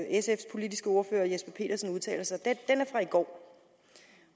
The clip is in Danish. sfs politiske ordfører herre jesper petersen udtaler sig i går